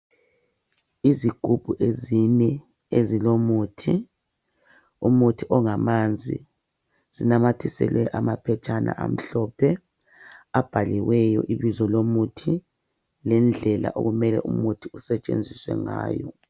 Izigubhu ezine ezilomuthi, umuthi ongamanzi zinamathiselwe amaphetshana amhlophe abhaliweyo ibizo lomuthi lendlela okumele umuthi usetshenziswe ngayo.